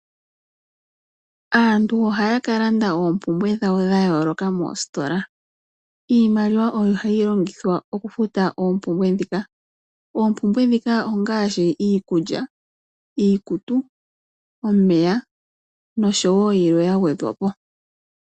Aantu ohaya ka landa oompumbwe dhawo dha yooloka moostola. Iimaliwa oyo hayi longithwa oku futa oompumbwe ndhika, oompumbwe ndhika ongaashi iikulya, iikutu, omeya noshowo yilwe ya gwedhwa po.